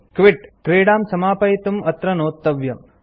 quit - क्रीडां समापयितुं अत्र नोत्तव्यम्